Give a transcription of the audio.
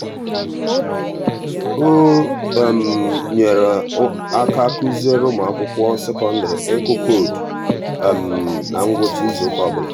o nyere aka kụziere ụmụakwụkwọ sekondịrị ịkụ koodu na ngwụcha izuụka ọbụla.